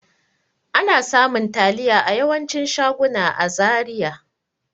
Ana samun taliya a yawancin shaguna a Zaria.